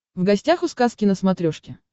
в гостях у сказки на смотрешке